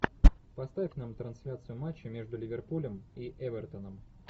поставь нам трансляцию матча между ливерпулем и эвертоном